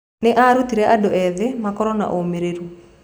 Nĩ aarutire andũ ethĩ makorũo na ũmĩrĩru.